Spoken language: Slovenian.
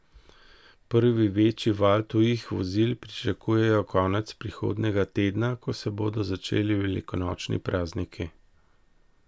Prvi večji val tujih vozil pričakujejo konec prihodnjega tedna, ko se bodo začeli velikonočni prazniki.